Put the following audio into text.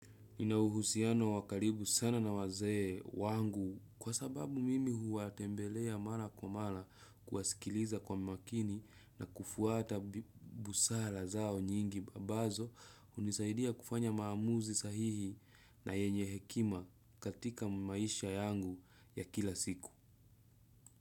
Nina uhusiano wa karibu sana na wazee wangu kwa sababu mimi huwatembelea mara kwa mara kuwasikiliza kwa makini na kufuata busara zao nyingi ambazo hunisaidia kufanya maamuzi sahihi na yenye hekima katika maisha yangu ya kila siku.